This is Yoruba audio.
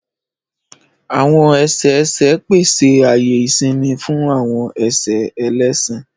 Àwọn ẹsẹ ẹsẹ pese aaye isinmi fun awọn ẹsẹ ẹlẹṣin.